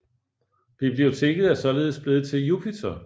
Biblioteket er således blevet til Jupiter